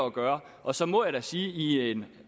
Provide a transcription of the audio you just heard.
gøre og så må jeg sige at i en